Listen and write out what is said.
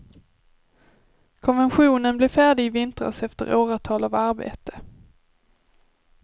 Konventionen blev färdig i vintras efter åratal av arbete.